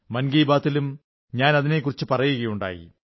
മൻ കീ ബാത്തിലും ഞാൻ അതിനെക്കുറിച്ചു പറയുകയുണ്ടായി